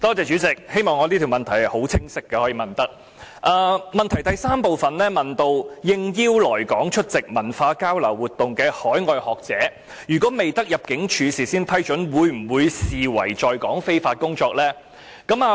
主體質詢第三部分問及應邀來港出席文化交流活動的海外學者，如果未得入境事務處事先批准，會否被視為在港非法工作？